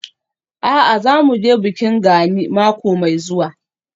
A'a, za mu je bikin Gani mako mai zuwa.